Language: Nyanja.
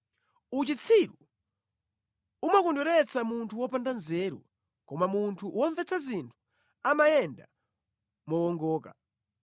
Uchitsiru umakondweretsa munthu wopanda nzeru, koma munthu womvetsa zinthu amayenda mowongoka.